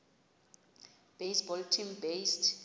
baseball team based